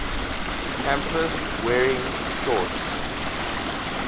campus wearing shorts